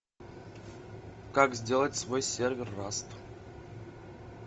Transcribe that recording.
как сделать свой сервер раст